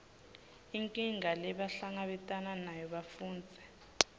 inkinga lebahlangabetana nayo bafundzi